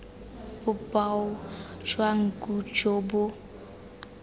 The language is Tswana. boboa jwa nku jo bo